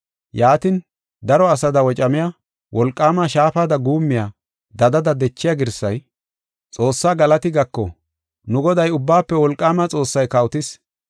Yaatin, daro asada wocamiya, wolqaama shaafada guummiya, dadada dechiya girsay, “Xoossaa galati gako; nu Goday, Ubbaafe Wolqaama Xoossay kawotis.